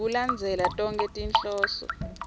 ngekulandzela tonkhe tinhloso